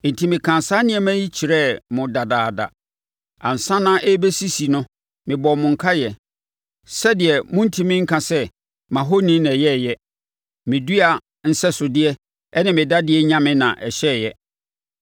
Enti, mekaa saa nneɛma yi kyerɛɛ mo dadaada. Ansa na ɛrebɛsisi no mebɔɔ mo nkaeɛ sɛdeɛ morentumi nka sɛ, ‘Mʼahoni na ɔyɛeɛ: me dua nsɛsodeɛ ne me dadeɛ nyame na ɔhyɛeɛ.’